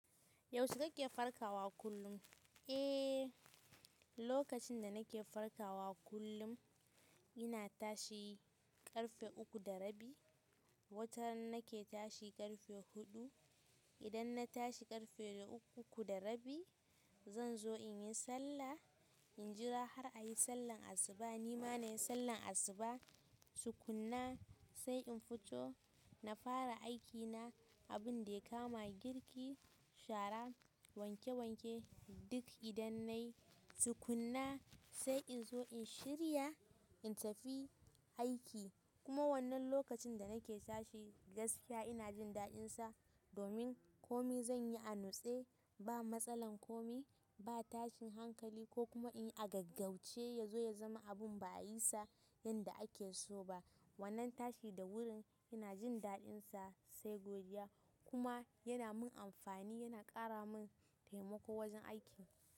Yaushe kake farkawa kullum? Eh, lokacin da nake farkawa kullum ina tashi ƙarfe uku da rabi. Wata nan nake tashi ƙarfe huɗu. Idan na tashi ƙarfe uku da rabi, zan zo in yi sallah, in jira har a yi sallar asuba. Ni ma na yi sallar asuba, tu kunna sai in fito na fara aikina. Abin da ya kama girki, shara, wanke wanke duk idan na yi, tu kunna sai in zo in shirya in tafi aiki. Kuma wannan lokacin da nake tashi gaskiya ina jin daɗinsa domin kome zan yi a nutse. Ba matsalan komai ba tashin hankali kokuma inyi a gaugaushe yazo ya zama abun ba a yisa yanda akeso bah. Wannan tashi da wuri ina jin daɗinsa sai godiya kuma yana min amfani, yana ƙara min taimako wajen aikin.